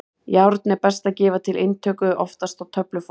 Járn er best að gefa til inntöku, oftast á töfluformi.